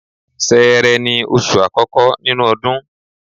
Ṣẹẹrẹ ni oṣù àkọ́kọ́ nínú ọdún.